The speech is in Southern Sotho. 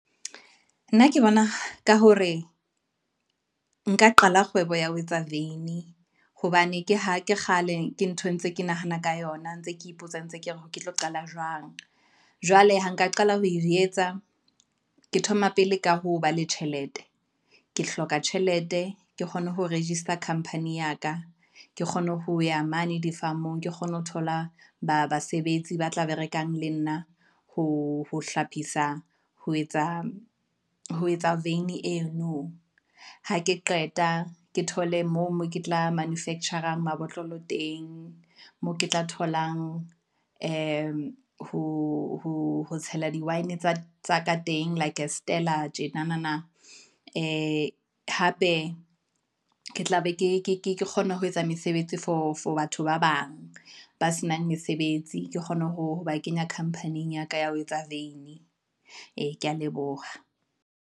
Nna ke bona ka hore nka qala kgwebo ya ho etsa veini, hobane ke ha ke kgale ke ntho ntse ke nahana ka yona ntse ke ipotsa ntse ke re ke tlo qala jwang. Jwale ha nka qala ho e etsa, ke thoma pele ka ho ba le tjhelete, ke hloka tjhelete ke kgone ho register khampani ya ka, ke kgone ho ya mane di-farm-ong, ke kgone ho thola basebetsi ba tla be rekang le nna, ho hlophisa ho etsa veini eno, ha ke qeta ke thole mo ke tla manufacture a mabotlolo teng, moo ke tla tholang he ho tshela di-wine tsa teng like a stella tjenanana. Ee, hape ke tla be ke kgona ho etsa mesebetsi for batho ba bang, ba senang mesebetsi. Ke kgone ho ba kenya company-ing ya ka, ya ho etsa veini, ee ke ya leboha.